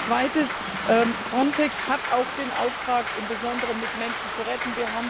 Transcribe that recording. Als Zweites Frontex hat auch den Auftrag, im Besonderen Menschen zu retten.